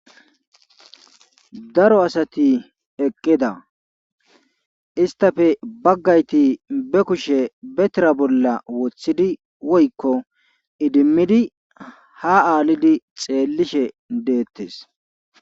Daro asati eqqida isttappe bagayti be kushe be tira bolla wothidi woykko idimidi ha aalidi xeelishe de'eetees.